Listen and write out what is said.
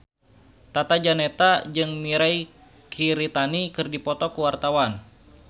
Tata Janeta jeung Mirei Kiritani keur dipoto ku wartawan